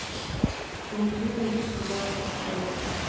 но при этом ты сказал то что